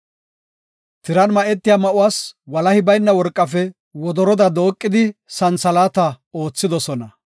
Tiran ma7etiya ma7uwas walahi bayna worqafe wodoroda dooqada santhalaata ootha.